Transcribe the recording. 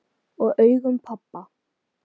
Og augum pabba.